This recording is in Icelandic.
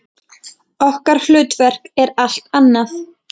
Okkar hlutverk er allt annað.